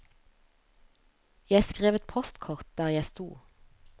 Jeg skrev et postkort der jeg stod.